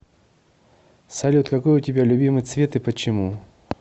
салют какой у тебя любимый цвет и почему